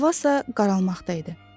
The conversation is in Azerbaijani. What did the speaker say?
Hava isə qaralmaqda idi.